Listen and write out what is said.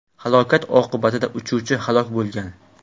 Halokat oqibatida uchuvchi halok bo‘lgan.